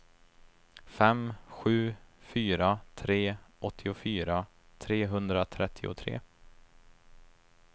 fem sju fyra tre åttiofyra trehundratrettiotre